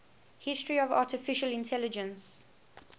history of artificial intelligence